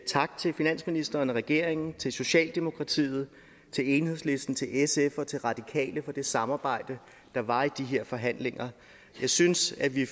tak til finansministeren og regeringen til socialdemokratiet til enhedslisten til sf og til radikale for det samarbejde der var i de her forhandlinger jeg synes at vi i